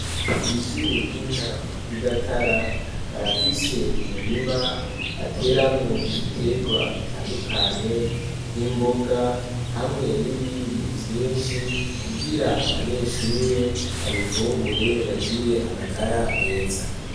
Kw'ishure ry'intango ryi Gatara barafise umurima bateramwo ibiterwa bitandukanye, nk'imboga hamwe n'ibindi vyinshi kugira abanyeshure babifungure, bagire amagara meza.